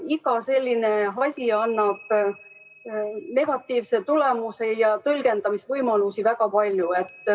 Iga selline asi annab negatiivse tulemuse ja tõlgendamisvõimalusi on väga palju.